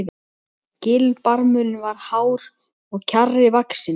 Gilbarmurinn var hár og kjarri vaxinn.